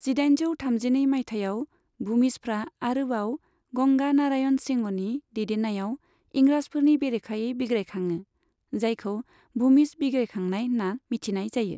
जिदाइनजौ थामजिनै मायथाइयाव भूमिजफ्रा आरोबाव गंगा नारायण सिंहनि दैदेननायाव इंराजफोरनि बेरेखायै बिग्रायखाङो, जायखौ भूमिज बिग्रायखांनाय होनना मिथिनाय जायो।